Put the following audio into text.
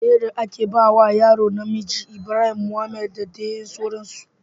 Sunayen da ake bawa yaro namiji Ibrahim, Mohamed da dai sauransu